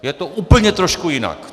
Je to úplně trošku jinak.